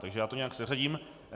Takže já to nějak seřadím.